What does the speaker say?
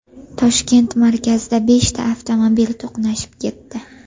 Toshkent markazida beshta avtomobil to‘qnashib ketdi.